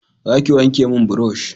za ki wanke mun burosh